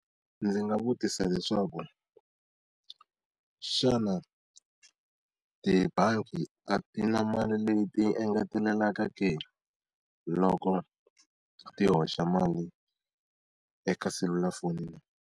Ndzi nga vutisa leswaku, xana tibangi a ti na mali leyi ti engetelelaka ke loko ti hoxa mali eka selulafoni?